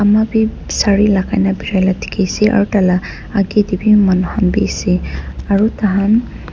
ama bi saree lagai nah birai la dikhi ase aru taila agey teh bi manu khan bi ase aru tahan--